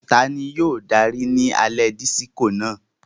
Tani yóò daari ni alẹ Disiko náà?